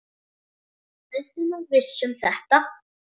Ertu nú viss um þetta?